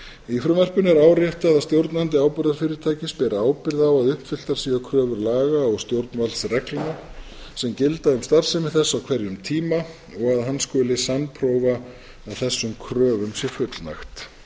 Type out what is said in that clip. í frumvarpinu er áréttað að stjórnandi áburðarfyrirtækis ber ábyrgð á að uppfylltar séu kröfur laga og stjórnvaldsreglna sem gilda um starfsemi þess á hverjum tíma og að hann skuli sannprófa að þessum kröfum sé fullnægt